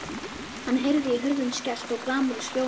Hann heyrði hurðum skellt og glamur í skjólum.